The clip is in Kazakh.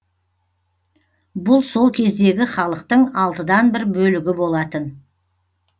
бұл сол кездегі халықтың алтыдан бір бөлігі болатын